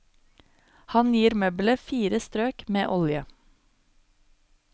Han gir møbelet fire strøk med olje.